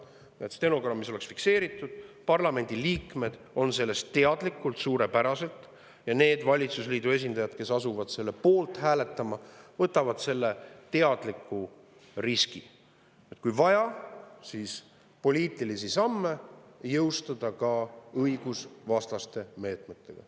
Et see oleks stenogrammis fikseeritud, parlamendi liikmed on sellest suurepäraselt teadlikud ja need valitsusliidu esindajad, kes asuvad selle poolt hääletama, võtavad teadliku riski, et kui on vaja, siis saab oma poliitilisi samme jõustada ka õigusvastaste meetmetega.